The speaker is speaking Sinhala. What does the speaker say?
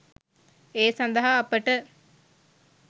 ඒ සඳහා අපට